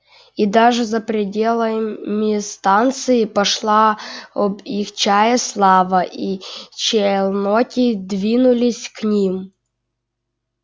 и даже за пределами станции пошла об их чае слава и челноки двинулись к ним